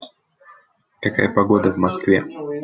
какая погода в москве